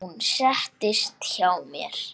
Hún settist hjá mér.